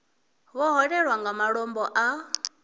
vho hwelwaho nga malombo a